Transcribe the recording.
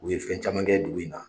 U ye fɛn caman kɛ dugu in na.